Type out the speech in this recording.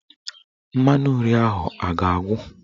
Mmanụ nri ahụ a ga-agwụ?